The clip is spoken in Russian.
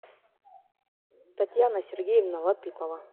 татьяна сергеевна латыпова